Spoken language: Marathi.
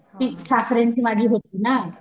ती ठाकऱ्यांची ना